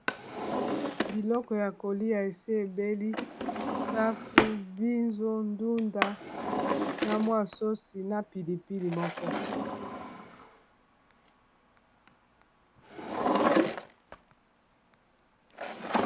biloko ya kolia esi ebeli ,safu, mbizo, ndunda na mwa sauce na pilipili moko